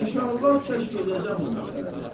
İnşallah kəşf eləyəcəm bu məsələni.